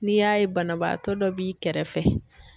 N'i y'a ye banabaatɔ dɔ b'i kɛrɛfɛ.